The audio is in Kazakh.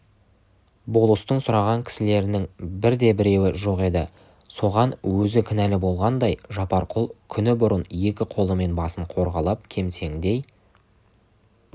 болыстың сұраған кісілерінің бірде-біреуі жоқ еді соған өзі кінәлі болғандай жапарқұл күні бұрын екі қолымен басын қорғалап кемсеңдей